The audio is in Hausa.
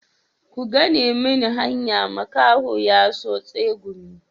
Ku gane mini hanya makaho ya so tsegumi.